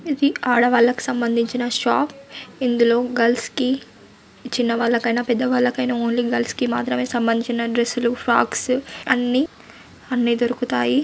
ఇది ఆడవాళ్లకు సంబంధించిన షాప్ ఇందులో గల్స్ కి చిన్నవాళ్లకైనా పెద్దవాళ్ళకైనా ఓన్లీ గల్స్ కి మాత్రమే సంబంధించిన డ్రస్సు లు ఫ్రాక్స్ అన్ని అన్ని దొరుకుతాయి.